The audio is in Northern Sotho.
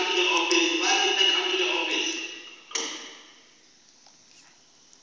la go swana le la